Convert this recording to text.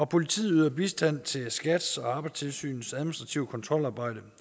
politiet yder bistand til skats og arbejdstilsynets administrative kontrolarbejde